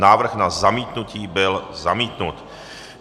Návrh na zamítnutí byl zamítnut.